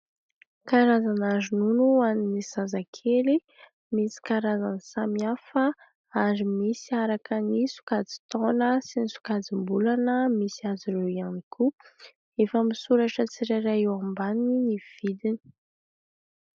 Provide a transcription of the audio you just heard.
Karazana ronono ho an'ny zazakely. Misy karazany samy hafa ary misy araka ny sokajin-taona sy ny sokajim-bolana misy azy ireo ihany koa. Efa misoratra tsirairay eo ambaniny ny vidiny.